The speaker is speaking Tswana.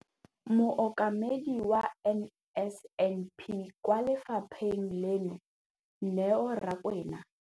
Mokaedi wa NSNP kwa lefapheng leno, Neo Rakwena.